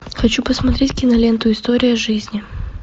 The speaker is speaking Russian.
хочу посмотреть киноленту история жизни